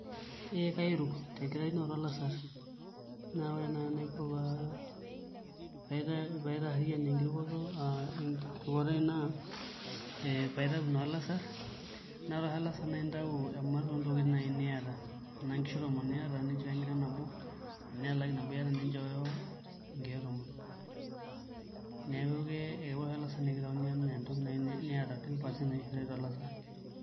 Ee kairuk enkitaunoto olassarr neeku ore naai enaiko paitaarriyian enkirukoto, ore tenkirukoto aai naa ee paitau naa olasarr ore oshi olasarr naa aintau ematua oo ntokitin naai niata enaa nkishu tomon iata ninchooyo enkiteng' nabo enaa elaki nabo iata ninchooyo nkeek tomon neeku ke ore oshi olasarr naa kitauni enaa entoki niata ten percent oshi ishoori tolasarr.